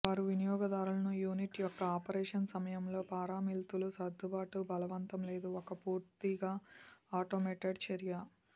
వారు వినియోగదారులను యూనిట్ యొక్క ఆపరేషన్ సమయంలో పారామితులు సర్దుబాటు బలవంతం లేదు ఒక పూర్తిగా ఆటోమేటెడ్ చర్య